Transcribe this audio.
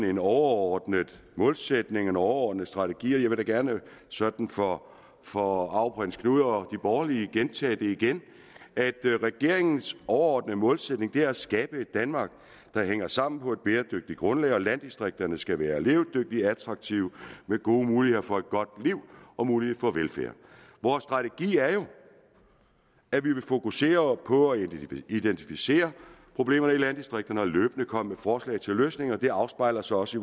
en overordnet målsætning og en overordnet strategi og jeg vil da gerne sådan for for arveprins knud og de borgerlige gentage at regeringens overordnede målsætning er at skabe et danmark der hænger sammen på et bæredygtigt grundlag og at landdistrikterne skal være levedygtige og attraktive og med gode muligheder for et godt liv og mulighed for velfærd vores strategi er jo at vi vil fokusere på at identificere problemerne i landdistrikterne og løbende komme med forslag til løsninger det afspejler sig også